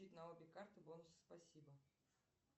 на обе карты бонусы спасибо